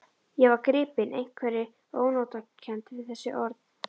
Ég var gripinn einhverri ónotakennd við þessi orð.